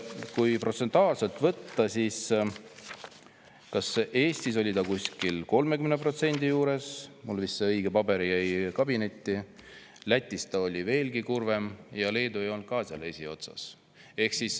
Kui protsentuaalselt võtta, siis Eestis oli see 30% juures – mul see õige paber jäi vist kabinetti –, Lätis oli veelgi kurvem ja Leedu ei olnud ka seal eesotsas.